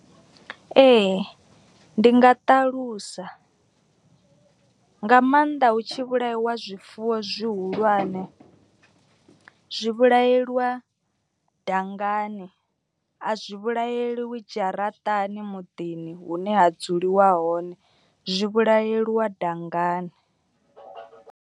Ee ndi nga ṱalusa nga maanḓa hu tshi vhulaiwa zwifuwo zwihulwane. Zwi vhulaeliwa dangani a zwi vhulaeliwi dzharaṱani muḓini hune ha dzuliwa hone zwi vhulaeliwa dangani.